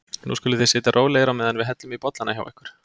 Nú skuluð þið sitja rólegir á meðan við hellum í bollana hjá ykkur.